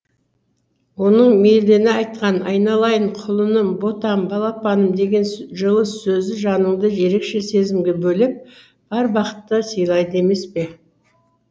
оның мейірлене айтқан айналайын құлыным ботам балапаным деген жылы сөзі жаныңды ерекше сезімге бөлеп бар бақытты сыйлайды емес пе